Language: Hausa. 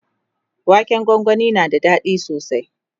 waken gwangwani na da daɗi sosai